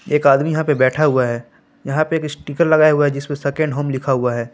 एक आदमी यहां पे बैठा हुआ है यहां पे एक स्टीकर लगा हुआ है जिसमें सेकंड होम लिखा हुआ है।